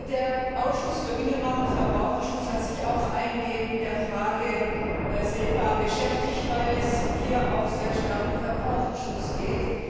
Der Ausschuss für Binnenmarkt und Verbraucherschutz hat sich auch eingehend mit der Frage SEPA beschäftigt, weil es hier auch sehr stark um Verbraucherschutz geht.